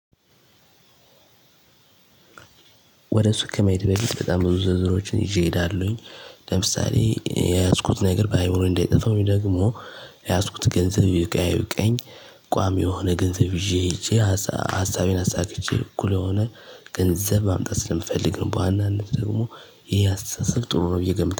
ወደ እሱ ከመሄድ በፊት በጣም ብዙ ዝርዝሮችን ይዤ እሄዳለሁኝ። ለምሳሌ የያዝኩት ነገር ባይሆን እንዳይጠፋ ወይደግሞ የያዝኩት ገንዘብ ይብቃ አይብቃኝ። ቋሚ የሆነ ገንዘብ ይዤ ሄጄ ሀሳቤን አሳክቼ እኩል የሆነ ገንዘብ ማምጣት ስለምፈልግ ነው። በዋናነት ደግሞ ይሄ አስተሳሰብ ጥሩ ነው ብዬ እገምታለሁ